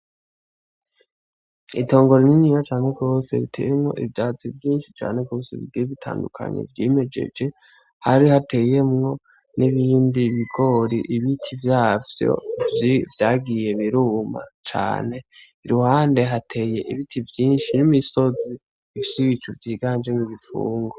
Itongo rininya cane gose riteyemwo ivyatsi vyinshi bigiye bitandukanye vyimejeje hari hateyemwo n'ibindi ibigori ibiti vyavyo vyagiye biruma cane ahandi hari imisozi n'ibicu birimwo igifungu.